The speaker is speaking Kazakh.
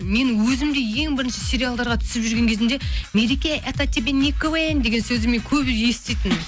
мен өзім де ең бірінші сериалдарға түсіп жүрген кезімде мереке это тебе не квн деген сөзді мен көп еститінмін